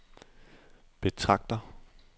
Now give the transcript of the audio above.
betragter